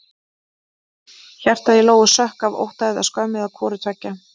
Hjartað í Lóu sökk af ótta eða skömm eða hvoru tveggja.